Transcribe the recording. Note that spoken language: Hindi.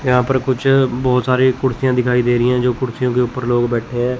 यहां पर कुछ बहुत सारी कुर्सियां दिखाई दे रही हैं जो कुर्सियों के ऊपर लोग बैठे हैं।